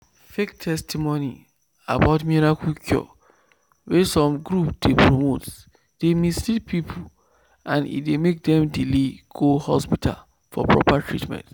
fake testimony about miracle cure wey some group dey promote dey mislead people and e dey make dem delay go hospital for proper treatment."